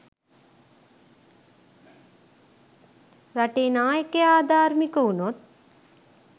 රටේ නායකයා අධාර්මික වුණොත්